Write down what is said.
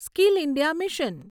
skill India mission